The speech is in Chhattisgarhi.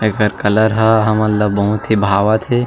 अउ एखर कलर ह हमन ल बहुत भावत थे।